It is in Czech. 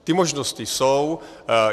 Ty možnosti jsou.